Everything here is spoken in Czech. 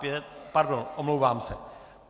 Pardon, omlouvám se.